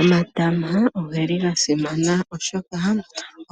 Omatama ogeli gasimana oshoka